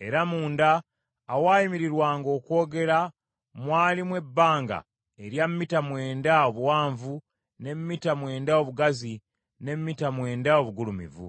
Era munda awaayimirirwanga okwogera mwalimu ebbanga erya mita mwenda obuwanvu, ne mita mwenda obugazi, ne mita mwenda obugulumivu .